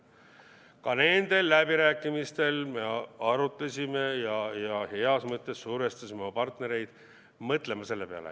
Ka nendel läbirääkimistel me arutasime ja heas mõttes survestasime oma partnereid mõtlema selle peale.